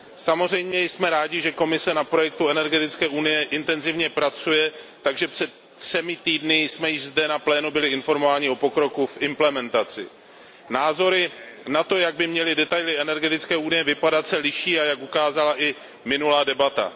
Samozřejmě jsme rádi, že Komise na projektu energetické unie intenzivně pracuje, takže před třemi týdny jsme již zde na plénu byli informováni o pokroku v implementaci. Názory na to, jak by měly detaily energetické unie vypadat, se liší, jak ukázala i minulá debata.